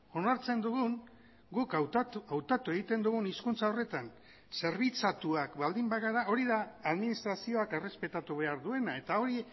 onartzen dugun guk hautatu egiten dugun hizkuntza horretan zerbitzatuak baldin bagara hori da administrazioak errespetatu behar duena eta hori